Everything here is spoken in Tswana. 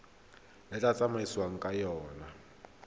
le tla tsamaisiwang ka yona